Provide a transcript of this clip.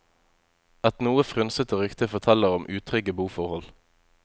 Et noe frynsete rykte forteller om utrygge boforhold.